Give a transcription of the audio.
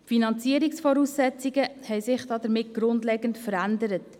Die Finanzierungsvoraussetzungen haben sich damit grundlegend verändert.